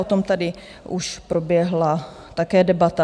O tom tady už proběhla také debata.